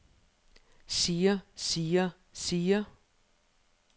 siger siger siger